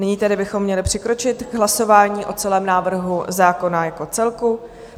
Nyní tedy bychom měli přikročit k hlasování o celém návrhu zákona jako celku.